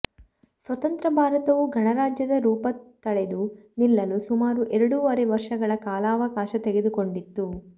ಸ್ವತಂತ್ರ ಭಾರತವು ಗಣರಾಜ್ಯದ ರೂಪ ತಳೆದು ನಿಲ್ಲಲು ಸುಮಾರು ಎರಡೂವರೆ ವರ್ಷಗಳ ಕಾಲಾವಕಾಶ ತೆಗೆದುಕೊಂಡಿತು